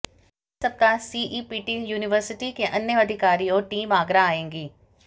अगले सप्ताह CEPT university के अन्य अधिकारी और टीम आगरा आएगी